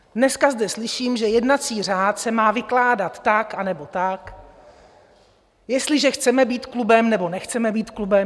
Dneska zde slyším, že jednací řád se má vykládat tak, anebo tak, jestliže chceme být klubem, nebo nechceme být klubem.